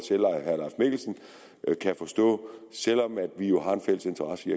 at kan forstå selv om vi jo har en fælles interesse i